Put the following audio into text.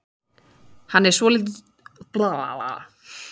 Hann er svolítið taugastrekktur og hann talar varla ensku.